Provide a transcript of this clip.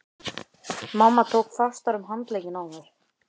Mamma tók fastar um handlegginn á mér.